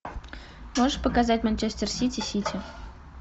можешь показать манчестер сити сити